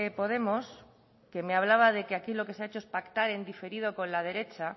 podemos que me hablaba de que aquí lo que se ha hecho es pactar en diferido con la derecha